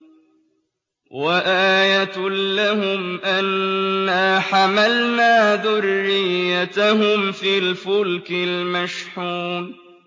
وَآيَةٌ لَّهُمْ أَنَّا حَمَلْنَا ذُرِّيَّتَهُمْ فِي الْفُلْكِ الْمَشْحُونِ